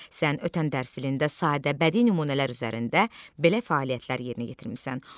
Sən ötən dərs ilində sadə bədii nümunələr üzərində belə fəaliyyətlər yerinə yetirmisən.